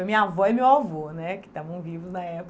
Foi minha avó e meu avô, né, que estavam vivos na época.